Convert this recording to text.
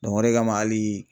o de kama ali